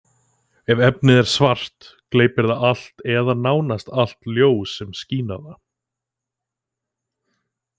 Ef efnið er svart, gleypir það allt, eða nánast allt, ljós sem skín á það.